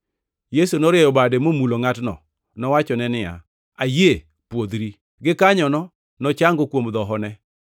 Yesu norieyo bade momulo ngʼatno. Nowachone niya, “Ayie, pwodhri!” Gikanyono nochango kuom dhohone.